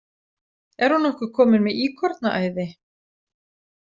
Er hún nokkuð komin með íkornaæði?